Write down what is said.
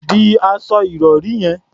De aṣọ ìrọ̀rí yẹn.